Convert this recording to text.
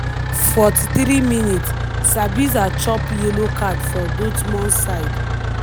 43mins- sabitzer chop yellow card for dortmund side.